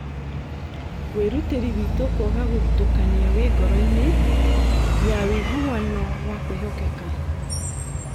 "Wĩrutĩri witũ kwaga gũthutũkania wĩ ngoroinĩ ya wĩiguano wa kwĩhokeka